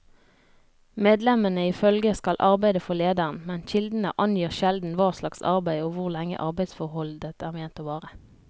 Medlemmene i følget skal arbeide for lederen, men kildene angir sjelden hva slags arbeid og hvor lenge arbeidsforholdet er ment å vare.